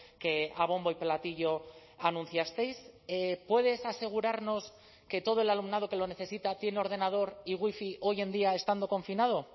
que a bombo y platillo anunciasteis puedes asegurarnos que todo el alumnado que lo necesita tiene ordenador y wifi hoy en día estando confinado